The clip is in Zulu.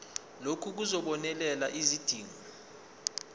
lokhu kuzobonelela izidingo